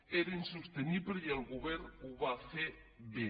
era insostenible i el govern ho va fer bé